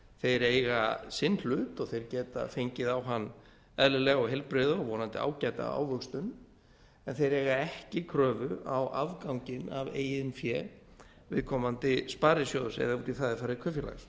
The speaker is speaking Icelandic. þeir eiga sinn hlut og þeir geta fengið á hann eðlilega og heilbrigða og vonandi ágæta ávöxtun en þeir eiga ekki kröfu á afganginn af eigin fé viðkomandi sparisjóðs eða út í það er farið kaupfélags